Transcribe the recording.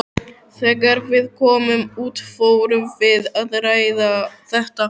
Þegar við komum út fórum við að ræða þetta.